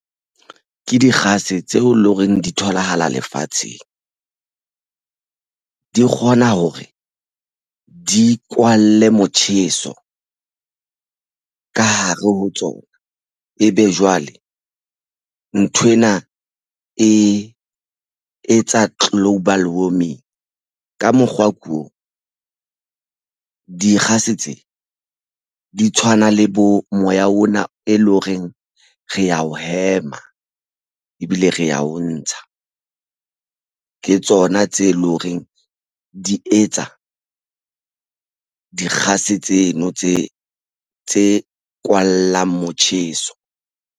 Ke dikgase tseo e leng hore di tholahala lefatsheng, di kgona ho re di kwalle motjheso ka hare ho tsona. Ebe jwale nthwena e etsa global warming ka mokgwa o ko dikgase tse di tshwana le bo moya ona e leng horeng re ya o hema, ebile re ya o ntsha. Ke tsona tse leng horeng di etsa dikgase tseno tse kwallang motjheso.